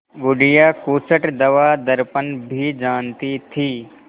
बुढ़िया खूसट दवादरपन भी जानती थी